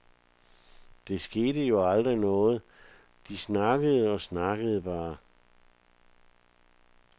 Der skete jo aldrig noget, de snakkede og snakkede bare.